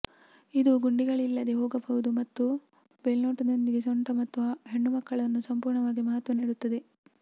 ಇದು ಗುಂಡಿಗಳಿಲ್ಲದೆ ಹೋಗಬಹುದು ಮತ್ತು ಬೆಲ್ಟ್ನೊಂದಿಗೆ ಸೊಂಟ ಮತ್ತು ಹೆಣ್ಣುಮಕ್ಕಳನ್ನು ಸಂಪೂರ್ಣವಾಗಿ ಮಹತ್ವ ನೀಡುತ್ತದೆ